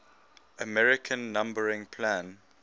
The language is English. american numbering plan